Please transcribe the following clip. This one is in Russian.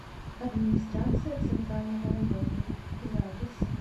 администрация центрального района запись